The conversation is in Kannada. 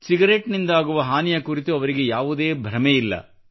ಸಿಗರೇಟ್ ನಿಂದಾಗುವ ಹಾನಿಯ ಕುರಿತು ಅವರಿಗೆ ಯಾವುದೇ ಭ್ರಮೆಯಿಲ್ಲ